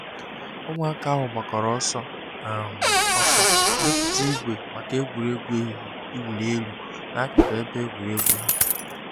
Ụmụaka ahụ gbakọrọ ọsọ um ọsọ mepụta ìgwè maka egwuregwu ehihie iwunyi elu n'akụkụ ebe egwuregwu ha.